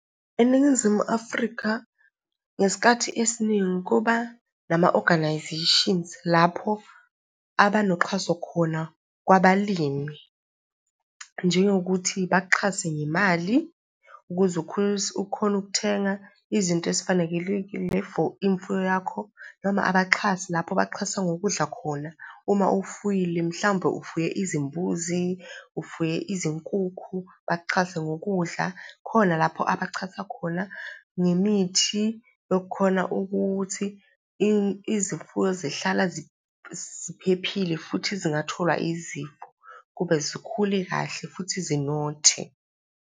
ENingizimu Afrika, ngesikhathi esiningi kuba nama-organisations lapho abanoxhaso khona kwabalimi, njengokuthi bakuxhase ngemali ukuze ukhone ukuthenga izinto ezifanekelekile for imfuyo yakho, noma abaxhasi lapho baxhasa ngokudla khona. Uma ufuyile, mhlawumbe ufuye izimbuzi, ufuye izinkukhu, bakuxhase ngokudla. Khona lapho abaxhasa khona ngemithi yokukhona ukuthi izimfuyo zihlala ziphephile futhi zingatholwa izifo, kube zikhule kahle futhi zinothe.